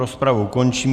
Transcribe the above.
Rozpravu končím.